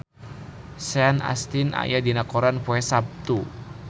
Sean Astin aya dina koran poe Saptu